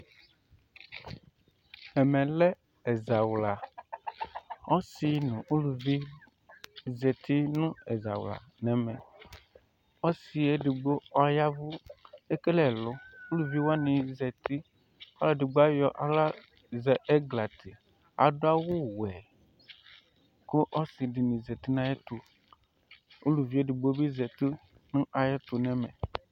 Ɛmɛ lɛ ɛzawla Ɔsi nʋ uluvi zati nʋ ɛzawla nɛ mɛ Ɔsi yɛ edigbo ɔyavʋ, ekele ɛlʋ Uluvi wani zati Ɔlʋ edigbo ayɔ aɣla zɛ ɛglati, adʋ awʋ wɛ, kʋ ɔsi dini zati nʋ ayɛtʋ Uluvi edigbo bi zati nʋ ayɛtʋ nɛ mɛ